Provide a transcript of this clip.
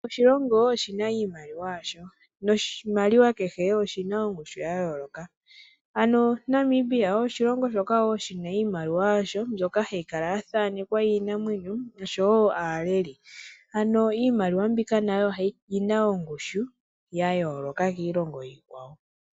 Kehe oshilongo oshi na iimaliwa yasho noshimaliwa kehe oshi na ongushu ya yooloka ano Namibia oshilongo shoka shi na iimaliwa yasho mbyoka hayi kala ya thanekwa iinamwenyo oshowo aaleli ano iimaliwa mbika nayo oyi na ongushu ya yooloka kiilongo iikwawo.